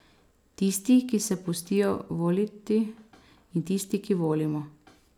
Tisti, ki se pustijo voliti, in tisti, ki volimo.